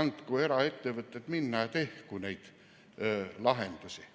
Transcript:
andku eraettevõtted minna, tehku neid lahendusi!